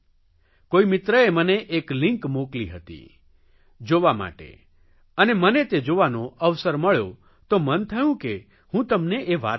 કોઇ મિત્રએ મને એક લિંક મોકલી હતી જોવા માટે અને મને તે જોવાનો અવસર મળ્યો તો મન થયું કે હું તમને એ વાત કહું